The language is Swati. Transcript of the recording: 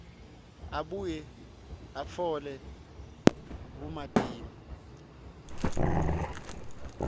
abuye atfole bumatima